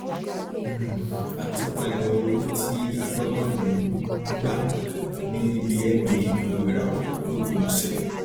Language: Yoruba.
um àtúpalẹ owó tí agbábọọlù um gba níbi nba gbogboìràwọ lópin ọsẹ